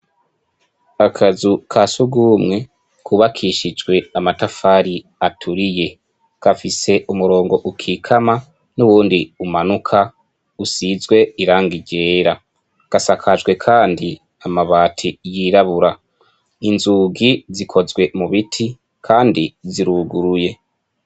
Akazu kasugumwe kubakishijwe amatafari aturiye kafise umurongo ukikama n'uwundi umanuka usizwe irangi ryera gasakajwe kandi amabati yirabura inzugi zikozwe mubiti kandi ziruguruye.